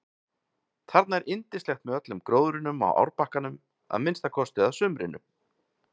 Þarna er yndislegt með öllum gróðrinum á árbakkanum að minnsta kosti að sumrinu.